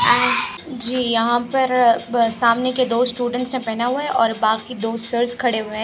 जी यहा पर अ सामने के दो स्टूडेंट्स ने पहना हुआ है बाकि दो सिर्स खडे हुए है।